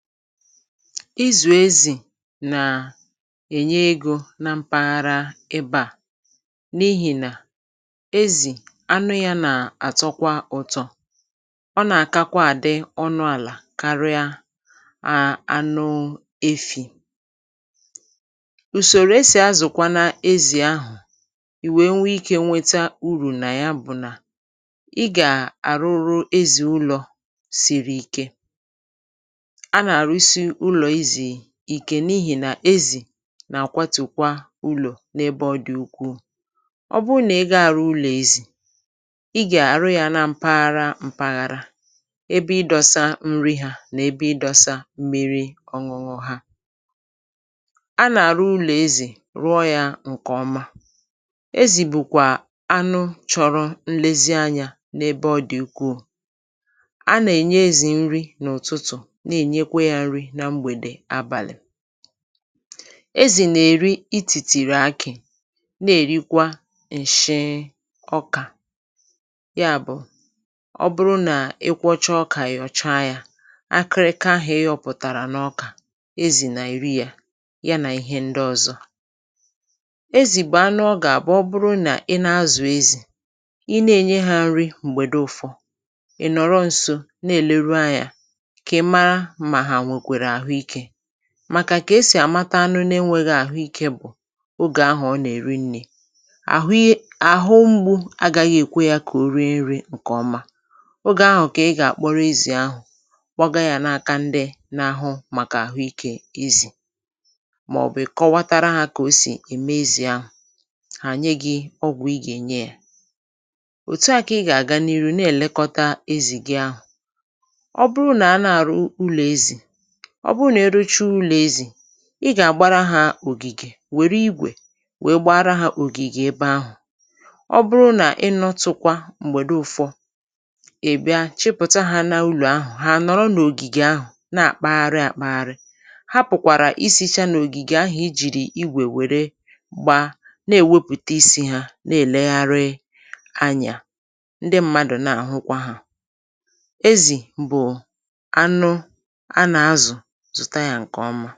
Izù ezì nàa ènye ego na mpaghara ebe à, n’ihì nà, ezì, anụ yȧ nà a-àtọkwa ụ̀tọ. Ọ nà-àkakwa àdị ọnụ àlà karịa a anụ efi̇. Ùsòrò esì azụ̀kwana ezì ahụ̀ ì wèe nwe ikė nweta urù nà ya bụ̀ nà ị gà a-àrụrụ ezì ụlọ̇ sìrì ike. A na-arụsi ụlọ̇ ezì ìkè n’ihì nà ezì nà-àkwatù kwa ụlọ̇ n’ebe ọ dị̀ ukwuù. Ọ bụụ nà ị ga-arụ ụlọ̀ ezì, ị gà-àrụ yȧ na m̀paghara m̀paghàrà; ebe ịdọsa nri hȧ nà ebe ịdọsa mmiri ọṅụṅụ ha. A nà-àrụ ụlọ̀ ezì rụọ yȧ ǹkè ọma. Ezì bụ̀kwà anụ chọrọ nlezianyȧ n’ebe ọ dị̀ ukwuù. A nà-ènye ezì nri n’ụ̀tụtụ̀ na-ènyekwe yȧ nrì na mgbede abalị. Ezì nà-èri itìtìrì akì na-èrikwa ǹshị ọkà; ya bụ̀, ọ bụrụ nà ịkwọcha ọkà yọcha ya, akịrịka ahụ̀ ịyọ̇pụ̀tàrà n’ọkà, ezì nà-èri yȧ, ya nà ihe ndị ọ̀zọ. Ezì bụ̀ anụ ọ gà àbụ̀ ọ bụrụ nà ị na-azụ̀ ezì, ị na-ènye hȧ nri m̀gbè dị ụfọ̇, ị̀ nọ̀rọ ǹso na-èleru anyȧ kà ị mara mà ha nwèkwère ahụike. Màkà kà esì àmata anụ n’enwėghi̇ àhụikė bụ̀ ogè ahụ̀ ọ nà-èri nni̇, àhụye, àhụ mgbu̇ agȧghị̇ èkwe yȧ kà o rie nri̇ ǹkè ọma. Ogè ahụ̀ kà ị gà-àkpọrọ ezì ahụ̀, kpọgȧ yȧ na-aka ndị n’ahụ màkà àhụikė ezì mà ọ̀bụ̀ ị kọwatara hȧ kà o sì ème ezì ahụ̀, hà nye gị̇ ọgwụ̀ ị gà-ènye yȧ. Òtu à kà ị gà-àga n’iru na-èlekọta ezì gị ahụ̀. Ọ bụrụ nà a na-àrụ ụlọ̀ ezì, ọ bụrụ nà eruchi ụlọ̀ ezì, ị gà-àgbara hȧ ògìgè, wère igwè wee gbara hȧ ògìgè ebe ahụ̀. Ọ bụrụ nà ị nọtụ̇kwa m̀gbèdo ụ̀fọ, ị bịa chịpụ̀ta hȧ n’ụlọ̀ ahụ̀, ha nọ̀rọ n’ògìgè ahụ̀ na-àkpagharị àkpagharị. Ha pùkwàrà isi̇cha n’ògìgè ahụ̀ i jìrì igwè were gba na-èwepùta isi̇ ha, na-èlegharị anyà. Ndị mmadụ̀ na-àhụkwa hȧ. Ezì bụ̀ anụ a na-azụ, zụta ya nke ọma.